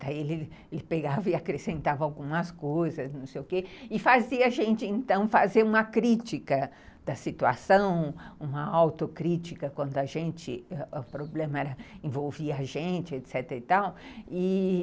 Daí ele pegava e acrescentava algumas coisas, não sei o quê, e fazia a gente, então, fazer uma crítica da situação, uma autocrítica, quando o problema era envolver a gente, etecetera e tal, e